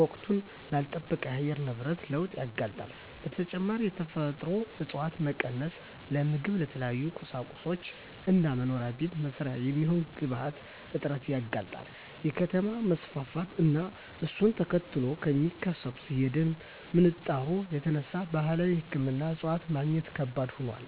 ወቅቱን ላልለጠበቀ የአየር ንብረት ለውጥ ያጋልጣል። በተጨማሪም የተፈጥሮ እፀዋት መቀነስ ለምግብ፣ ለተለያዩ ቁሳቁሶች እና መኖሪያ ቤት መስሪያ የሚሆኑ ግብአቶች እጥረት ያጋልጣል። ከከተማ መስፋፋት እና እሱን ተከትሎ ከሚከሰተው የደን ምንጣሮ የተነሳ ባህላዊ ሕክምና እፅዋት ማግኘት ከባድ ሆኗል።